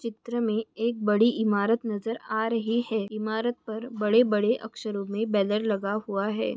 चित्र मे एक बड़ी इमारत नज़र आ रही है इमारत पर बड़े बड़े अक्षरो मे बैनर लगा हुआ है।